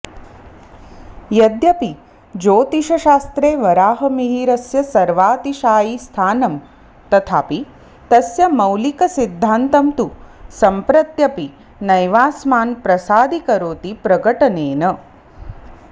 यद्यपि ज्योतिषशास्त्रे वराहमिहिरस्य सर्वातिशायि स्थानं तथापि तस्य मौलिकसिद्धान्तं तु सम्प्रत्यपि नैवास्मान् प्रसादीकरोति प्रकटनेन